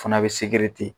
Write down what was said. Fana bɛ segere ten